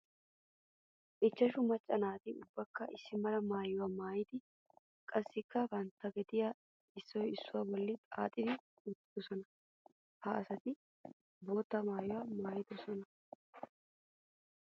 Ichashu maca asatti ubbaykka issi mala maayuwa maayiddi qassikka bantta gediya issuwa issuwa bolla xaaxiddi uttidosonna. Ha asatti bootta maayuwa maayidosonna.